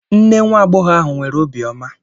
Nne nwa agbọghọ ahụ nwere obiọma.